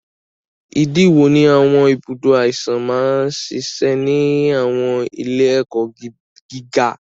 Ìdí wo ni àwọn ibùdó àìsàn máa ń ṣiṣẹ́ ní àwọn ilé-ẹ̀kọ́ gíga?